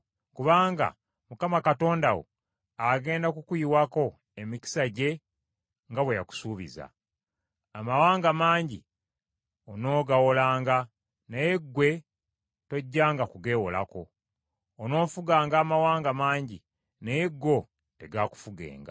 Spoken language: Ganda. Kubanga Mukama Katonda wo agenda kukuyiwako emikisa gye nga bwe yakusuubiza. Amawanga mangi onoogawolanga naye ggwe tojjanga kugeewolako. Onoofuganga amawanga mangi, naye go tegaakufugenga.